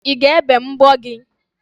I ga-ebe mbọ gị?